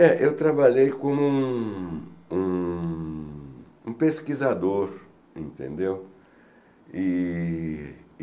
É, eu trabalhei como um um pesquisador, entendeu? E